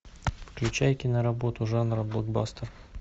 включай киноработу жанра блокбастер